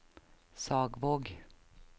Sagvåg